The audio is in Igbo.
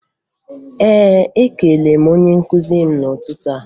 Ee, ekelere m onye nkụzi m n'ụtụtụ